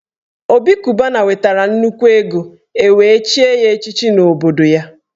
Obi Cubana nwetara nnukwu ego e wee chie ya echichi n’obodo ya